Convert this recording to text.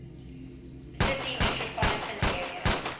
city metropolitan area